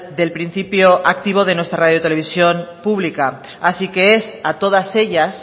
del principio activo de nuestra radio televisión pública así que es a todas ellas